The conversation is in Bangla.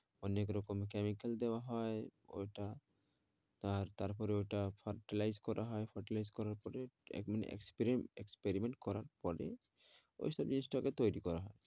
অনেক রকম chemical দেওয়া হয় ওই টা আর তারপরে ওই টা fertilize করা হয় fertilize করার পরে experiment করার পরে ওই সব জিনিস টা কে তৈরি করা হয়।